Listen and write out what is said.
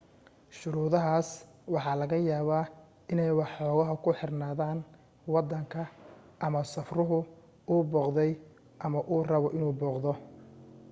shuruudahaas waxa laga yaabaa inay waxoogaa ku xirnaadaan waddanka ama safruhu uu booqday ama uu rabo inuu booqdo